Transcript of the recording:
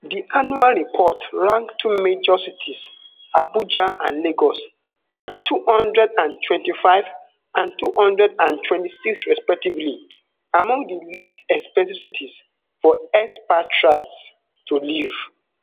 di annual report rank two major cities abuja and lagos at two hundred and twenty-five and two hundred and twenty-six respectively among di least expensive cities for expatriates to live